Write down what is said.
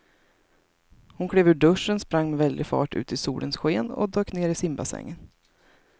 Hon klev ur duschen, sprang med väldig fart ut i solens sken och dök ner i simbassängen.